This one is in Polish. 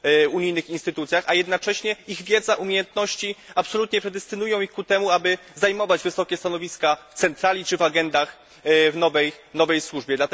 unijnych instytucjach, a jednocześnie ich wiedza, umiejętności absolutnie predestynują ich ku temu, aby zajmować wysokie stanowiska w centrali czy w agendach w nowej służbie.